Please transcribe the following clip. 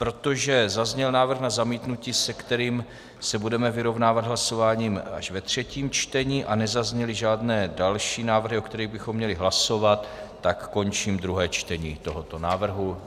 Protože zazněl návrh na zamítnutí, se kterým se budeme vyrovnávat hlasováním až ve třetím čtení, a nezazněly žádné další návrhy, o kterých bychom měli hlasovat, tak končím druhé čtení tohoto návrhu.